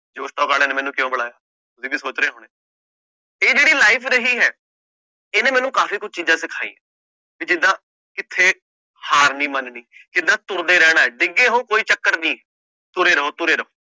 ਜੋਸ talk ਵਾਲਿਆਂ ਨੇ ਮੈਨੂੰ ਕਿਉਂ ਬੁਲਾਇਆ ਤੁਸੀਂ ਵੀ ਸੋਚ ਰਹੇ ਹੋਣੇ, ਇਹ ਜਿਹੜੀ life ਰਹੀ ਹੈ ਇਹਨੇ ਮੈਨੂੰ ਕਾਫ਼ੀ ਕੁੱਝ ਚੀਜ਼ਾਂ ਸਿਖਾਈਆਂ, ਵੀ ਜਿੱਦਾਂ ਕਿੱਥੇ ਹਾਰ ਨੀ ਮੰਨਣੀ, ਜਿੱਦਾਂ ਤੁਰਦੇ ਰਹਿਣਾ ਹੈ ਡਿੱਗੇ ਹੋਏ ਕੋਈ ਚੱਕਰ ਨੀ, ਤੁਰੇ ਰਹੋ ਤੁਰੇ ਰਹੋ।